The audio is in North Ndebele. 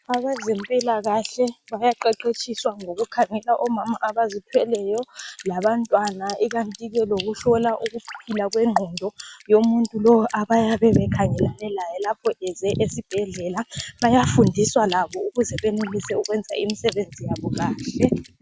Abezempilakahle bayaqeqetshiswa ngokukhangela omama abazithweleyo labantwana ikanti ke lokuhlola ukuphila kwe ngqondo womuntu lowo abayabe bekhangelane laye lapho eze esibhedlela. Bayafundiswa labo ukuze benelise ukwenza imisebenzi yabo kahle.